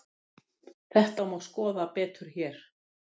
Þetta má skoða betur hér.